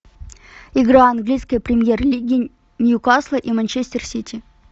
игра английской премьер лиги ньюкасла и манчестер сити